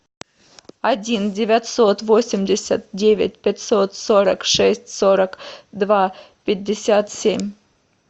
один девятьсот восемьдесят девять пятьсот сорок шесть сорок два пятьдесят семь